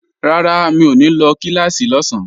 Rárá, mi ò ní lọ kíláàsì lọ́sán